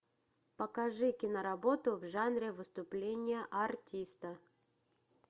покажи киноработу в жанре выступление артиста